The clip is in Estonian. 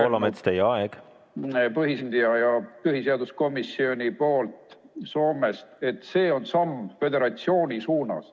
Näiteks, Päivi Leino-Sandberg põhiseaduskomisjonist on öelnud, et see on samm föderatsiooni suunas.